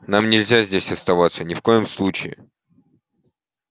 нам нельзя здесь оставаться ни в коем случае